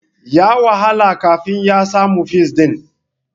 Ya wahala kafin ya samu fis ɗin.